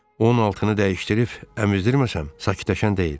Onun altını dəyişdirib əmizdirməsəm, sakitləşən deyil.